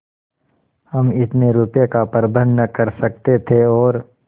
हम इतने रुपयों का प्रबंध न कर सकते थे और